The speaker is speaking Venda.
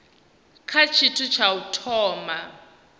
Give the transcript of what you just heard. kha tshithu tsha u thoma